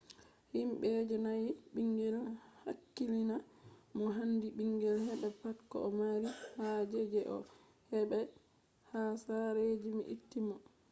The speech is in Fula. himbe je danyai bingel hakkilina mo handi bingel heba pat ko o mari haje je o hebai ha sare je be itti mo